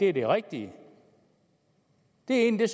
er det rigtige det er egentlig